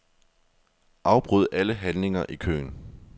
Afbryd alle handlinger i køen.